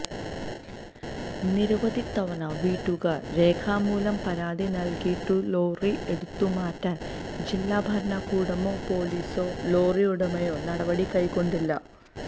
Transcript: നിരവധി തവണ വീട്ടുകാര് രേഖാമൂലം പരാതി നല്കിയിട്ടും ലോറി എടുത്തുമാറ്റാന് ജില്ലാഭരണകൂടമോ പോലീസോ ലോറി ഉടമയോ നടപടി കൈക്കൊണ്ടില്ല